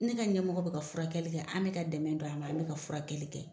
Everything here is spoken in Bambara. Ni ka ɲɛmɔgɔ be ka furakɛli kɛ an be ka dɛmɛ don an be ka furakɛli kɛ